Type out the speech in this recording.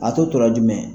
A tɔ tora jumɛn